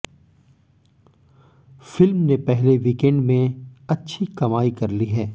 film ने पहले weekend में अच्छी कमाई कर ली है